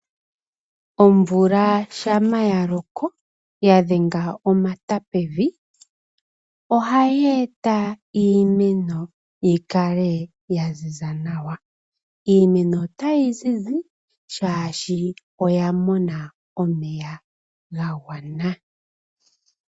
Omvula shampa ya loko, ya dhenga omata pevii, ohayi eta iimeno yi kale ya ziza nawa. Iimeno otayi zizi, oshoka oya mona omeya ga gwana.